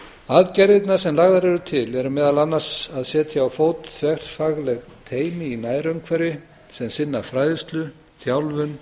aðgerðirnar sem lagðar eru til eru meðal annars að setja á fót þverfagleg teymi í nærumhverfi sem sinna fræðslu þjálfun